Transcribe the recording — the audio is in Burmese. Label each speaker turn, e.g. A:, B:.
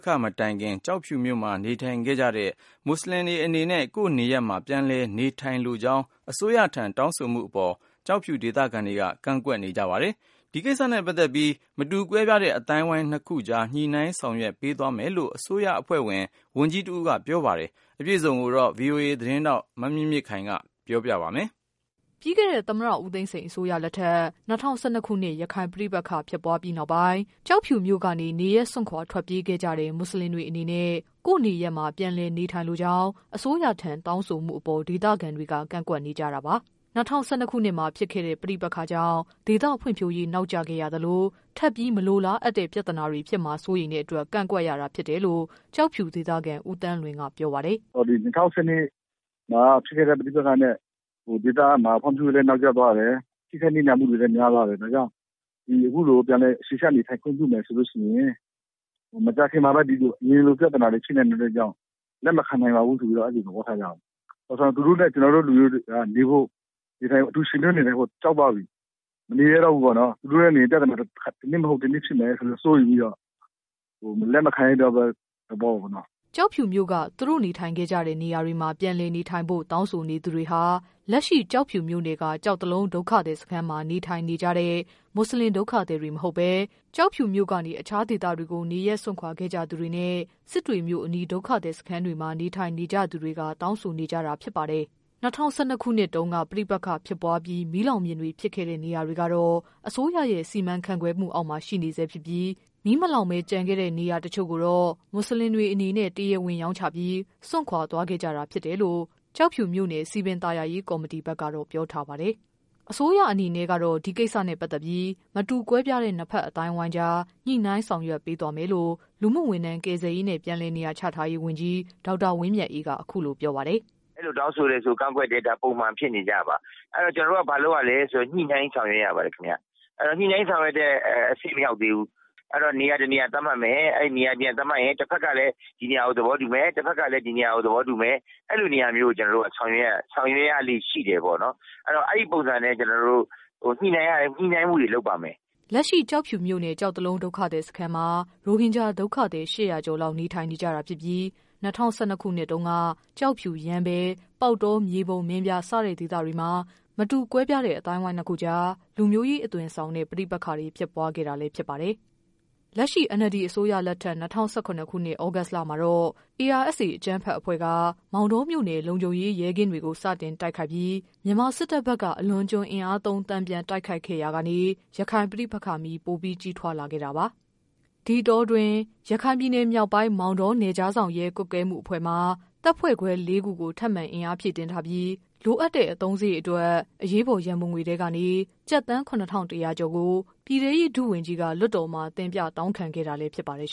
A: ခ မတိုင်ခင် ကျောက်ဖြူမြို့မှာ နေထိုင်ခဲ့ကြတဲ့ မွတ်ဆလင်တွေအနေနဲ့ ကိုယ့်နေရပ်မှာ ပြန်လည်နေထိုင်လိုကြောင်း အစိုးရထံ တောင်းဆိုမှုအပေါ် ကျောက်ဖြူဒေသခံတွေက ကန့်ကွက်နေကြ ပါတယ်။ ဒီကိစ္စနဲ့ ပတ်သက်ပြီး မတူကွဲပြားတဲ့ အသိုင်းအဝိုင်းနှစ်ခုကြား ညှိနှိုင်းဆောင်ရွက်ပေးသွားမယ် လို့ အစိုးရအဖွဲ့ ဝန်ကြီးတဦးက ပြောပါတယ်။ အပြည့်အစုံကိုတော့ ဗွီအိုအေ မြန်မာပိုင်း သတင်း ထောက် မမြင့်မြင့်ခိုင်က ပြောပြပေးပါမယ်
B: ။ ပြီးခဲ့တဲ့ သမ္မတ ဦးသိန်းစိန် အစိုးရလက်ထက် ၂၀၁၂ ရခိုင်ပဋိပက္ခ ဖြစ်ပွားပြီးနောက်ပိုင်း ကျောက်ဖြူမြို့ကနေ နေရပ်စွန့်ခွာခဲ့ကြတဲ့ မွတ်ဆလင်တွေအနေနဲ့ ကိုယ့်နေရပ်မှာ ပြန်လည် နေထိုင်လိုကြောင်း အစိုးရထံ တောင်းဆိုမှုအပေါ် ဒေသခံတွေက ကန့်ကွက်နေကြတာပါ။ ၂၀၁၂မှာဖြစ်ခဲ့တဲ့ ပဋိပက္ခကြောင့် ဒေသဖွံ့ဖြိုးရေး နောက်ကျခဲ့ရသလို ထပ်ပြီးမလိုလားအပ်တဲ့ ပြဿနာ တွေ ဖြစ်လာမှာ စိုးရိမ်တဲ့အတွက် ကန့်ကွက်ရတာဖြစ်တယ်လို့ ကျောက်ဖြူဒေသခံ ဦးသန်းလွင်က ပြော ပါတယ်
C: ။ "၂၀၁၂မှာဖြစ်ခဲ့တဲ့ ပဋိပက္ခမှာ ဒေသဖွံ့ဖြိုးရေးတွေ နောက်ကျသွားတယ်။ ထိခိုက်နစ်နာမှုတွေလည်းများသွားတယ်။ ဒါကြောင့် ဒီအခုလို ပြန်လည်နေထိုင်ခွင့်ပြုမယ်ဆိုရင် မကြာခင်မှာ အရင်လိုပြဿနာတွေ ရှိနိုင်တယ်ဆိုတဲ့အတွက်ကြောင့် လက်မခံ နိုင်ပါဘူးဆိုတဲ့သဘောထားကြတာပါ။ သူတို့နဲ့ ကျနော်တို့လူမျိုးတွေကအတူယှဉ်တွဲ နေထိုင်ဖို့ ကြောက်သွားပြီ။ သူတို့နဲ့ နေရင် ပြဿနာက တနည်းမဟုတ်တနည်းဖြစ်မယ် ဆိုတာ စိုးရိမ်ပြီးတော့ လက်မခံတဲ့ သဘောပေါ့နော်
B: ။" ကျောက်ဖြူမြို့က သူတို့နေထိုင်ခဲ့ကြတဲ့ နေရာတွေမှာ ပြန်လည်နေထိုင်ဖို့ တောင်းဆိုနေသူတွေ ဟာ လက်ရှိ ကျောက်ဖြူမြို့နယ်က ကျောက်တလုံး ဒုက္ခသည်စခန်းမှာ နေထိုင်နေကြတဲ့ မွတ်ဆလင် ဒုက္ခသည်တွေ မဟုတ်ဘဲ ကျောက်ဖြူမြို့ကနေ အခြားဒေသတွေကို နေရပ် စွန့်ခွာခဲ့ကြသူတွေနဲ့ စစ်တွေ မြို့အနီး ဒုက္ခသည်စခန်းတွေမှာ နေထိုင်နေကြသူတွေ ဖြစ်ပါတယ်။ ၂၀၁၂ ခုနှစ်တုန်းက ပဋိပက္ခဖြစ်ပွားပြီး မီးလောင်ပြင်တွေ ဖြစ်ခဲ့တဲ့ နေရာတွေကတော့ အစိုးရရဲ့ စီမံ ခန့်ခွဲမှုအောက်မှာ ရှိနေဆဲဖြစ်ပြီး မီးမလောင်ပဲ ကျန်ခဲ့တဲ့ နေရာတချို့ကိုတော့ မွတ်ဆလင်တွေ အနေ နဲ့ တရားဝင်ရောင်းချပြီး စွန့်ခွာ သွားခဲ့ကြတာဖြစ်တယ်လို့ ကျောက်ဖြူမြို့နယ် စည်ပင်သာယာရေး ကော်မတီဘက်ကတော့ ပြောထားပါတယ်။ အစိုးရအနေနဲ့ကတော့ ဒီကိစ္စနဲ့ပတ်သက်ပြီး မတူကွဲပြားတဲ့ နှစ်ဖက် အသိုင်းအဝိုင်းကြား ညှိနှိုင်း ဆောင်ရွက်ပေးသွားမယ်လို့ လူမှုဝန်ထမ်း၊ ကယ်ဆယ်ရေးနဲ့ ပြန်လည်နေရာချထားရေး ဝန်ကြီး ဒေါက်တာ ဝင်းမြတ်အေးက အခုလိုပြောပါတယ်။
A: "အဲလိုတောင်းဆိုရင် ကန့်ကွက်တယ်ဆိုတာက ပုံမှန်ဖြစ်နေကြပါ။ ဆိုတော့ ကျနော်တို့ကဘာလုပ်ရသလဲဆိုရင် ညှိနှိုင်းဆောင်ရွက်ရပါတယ်ခင်ဗျ။ ညှိနှိုင်းဆောင်ရွက်တဲ့ အဆင့်မရောက်သေးဘူး။ အဲဒါနေရာတနေရာသတ်မှတ်မယ်။ အဲဒီ နေရာတနေရာသတ်မှတ်ရင် တဖက်ကလည်း ဒီနေရာကို သဘောတူမယ်။ နောက်တဖက်ကလည်း ဒီနေရာကို သဘောတူမယ် အဲလိုနေရာမျိုးကို ကျနော်တို့က ဆောင်ရွက်ရလေ့ရှိတယ်ပေါ့နော်။ ဆိုတော့ အဲဒီပုံစံနဲ့ ကျနော်တို့ ညှိနှိုင်းမှုတွေ လုပ်ပါမယ်။
B: " လက်ရှိ ကျောက်ဖြူမြို့နယ်က ကျောက်တလုံး ဒုက္ခသည် စခန်းမှာ ရိုဟင်ဂျာ ဒုက္ခသည် ၈၀၀ ကျော်လောက် နေထိုင်နေကြတာဖြစ်ပြီး ၂၀၁၂ ခုနှစ်မှာတုန်းက ကျောက်ဖြူ၊ ရမ်းဗြဲ၊ ပေါက်တော၊ မြေပုံ၊ မင်းပြား စတဲ့ ဒေသတွေမှာ မတူကွဲပြားအသိုင်းအဝိုင်းနှစ်ခုကြား လူမျိုးရေး အသွင်ဆောင်တဲ့ ပဋိပက္ခ တွေ ဖြစ်ပွားခဲ့တာလည်း ဖြစ်ပါတယ်။ လက်ရှိ NLD အစိုးရလက်ထက် ၂၀၁၇ သြဂုတ်လမှာတော့ ARSA အကြမ်းဖက်အဖွဲ့က မောင်တောမြို့နယ် လုံခြုံရေး ရဲကင်းတွေ ကို စတင်တိုက်ခိုက်ပြီး မြန်မာစစ်တပ်ဘက်က အလွန်အကျွံ အင်အားသုံး တန်ပြန်တိုက်ခိုက်ခဲ့ရာကနေ ရခိုင် ပဋိပက္ခမီး ပိုပြီး ကြီးထွားလာခဲ့တာပါ။ ဒီအတောအတွင်း ရခိုင်ပြည်နယ်မြောက်ပိုင်း မောင်တော နယ်ခြားစောင့်ရဲ ကွပ်ကဲမှုအဖွဲ့မှာ တပ်ဖွဲ့ခွဲ လေးခု ထပ်မံအင်အားဖြည့်တင်းထားပြီး လိုအပ်တဲ့ အသုံးစရိတ်အတွက် အရေးပေါ် ရန်ပုံငွေ ထဲကနေ ကျပ်သန်း ၇၁၀၀ကျော်ကို ပြည်ထဲရေး ဒုဝန်ကြီးက လွှတ်တော်မှာ တင်ပြတောင်းခံခဲ့တာ လည်း ဖြစ်ပါတယ်